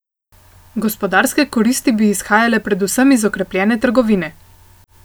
Gospodarske koristi bi izhajale predvsem iz okrepljene trgovine.